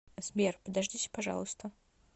сбер подождите пожалуйста